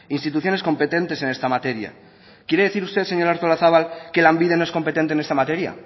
instituciones competentes en esta materia quiere decir usted señora artolazabal que lanbide no es competente en esta materia